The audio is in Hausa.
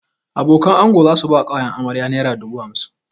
Abokanan ango za su bai wa ƙawayen amarya naira dubu hamsin